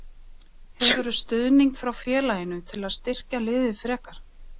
Hefurðu stuðning frá félaginu til að styrkja liðið frekar?